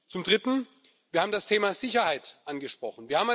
Zum Dritten Wir haben das Thema Sicherheit angesprochen.